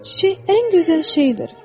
Çiçək ən gözəl şeydir.